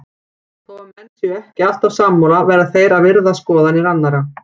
Þó að menn séu ekki alltaf sammála verða þeir að virða skoðanir annara.